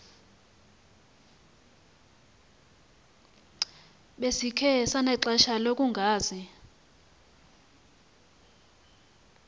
besikhe sanexesha lokungazi